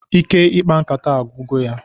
Ike ikpa nkata agwugo ya